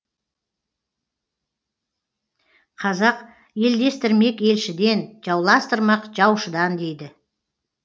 қазақ елдестірмек елшіден жауластырмақ жаушыдан дейді